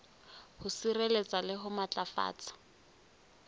ho sireletsa le ho matlafatsa